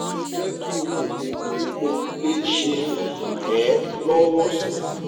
je ki mo bi mo le se ran e lowo si